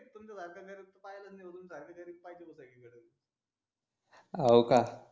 हाव का